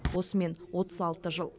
осымен отыз алты жыл